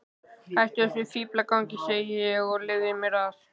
Hættu þessum fíflagangi, segi ég, og leyfðu mér að.